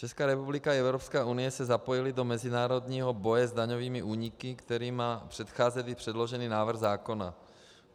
Česká republika i Evropská unie se zapojily do mezinárodního boje s daňovými úniky, kterým předcházely předložený návrh zákona.